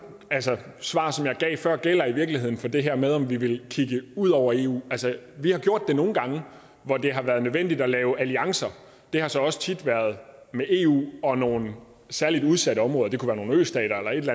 svar som jeg gav før gælder i virkeligheden for det her med om vi vil kigge ud over eu vi har gjort det nogle gange hvor det har været nødvendigt at lave alliancer det har så også tit været med eu og nogle særlig udsatte områder det kunne være nogle østater eller et